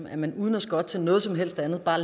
at man uden at skotte til noget som helst andet bare